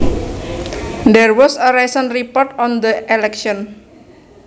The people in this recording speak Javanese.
There was a recent report on the election